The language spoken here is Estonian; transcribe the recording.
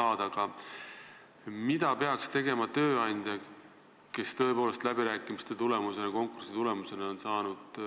Aga mida peaks tegema tööandja, kes läbirääkimiste ja konkursi tulemusena on saanud